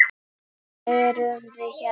Þess vegna erum við hérna!